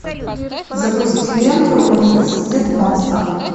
запусти ленту университет монстров